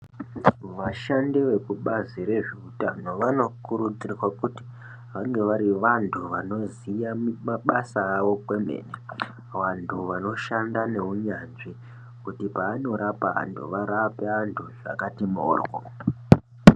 Vashandi veku bazi rezve utano vano kurudzirwa kuti vange vari vantu vanoziya mabasa avo kwemene vantu vanoshanda ne unyanzvi kuti paano rapa vantu varape vantu zvakati mboryo.